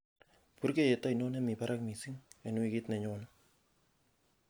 purgeiyet ainon nemi barak missing en wigit nenyone